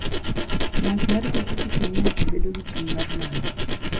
Ng'wech mar pikipiki miyo ji bedo gi chuny mar nano.